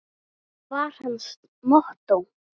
var hans mottó.